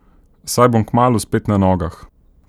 Saj bom kmalu spet na nogah.